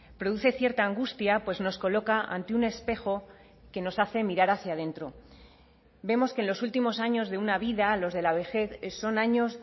produce cierta angustia pues nos coloca ante un espejo que nos hace mirar hacia dentro vemos que en los últimos años de una vida los de la vejez son años